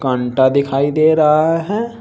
अंटा दिखाई दे रहा हैं।